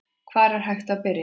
Hvar er hægt að byrja?